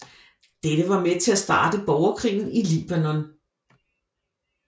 Dette var med til at starte borgerkrigen i Libanon